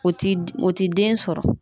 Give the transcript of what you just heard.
O ti o ti den sɔrɔ.